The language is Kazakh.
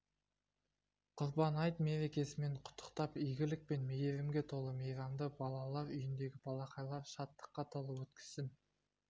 құрбан айт мерекесімен құттықтап игілік пен мейірімге толы мейрамды балалар үйіндегі балақайлар шаттыққа толы өткізсін